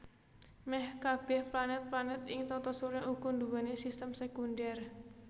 Mèh kabèh planèt planèt ing Tata Surya uga nduwé sistem sékundhèr